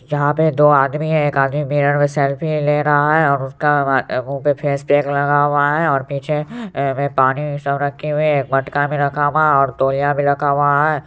यहां पे दो आदमी है एक आदमी मिरर में सेल्फी ले रहा है और उसका मुंह पे फेसपैक लगा हुआ है और पीछे पानी सब रखे हुए हैं मटका भी रखा हुआ है और तौलिया भी रखा हुआ है।